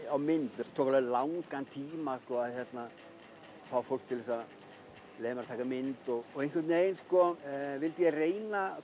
á mynd það tók langan tíma að fá fólk til að leyfa mér að taka mynd einhvern veginn vildi ég reyna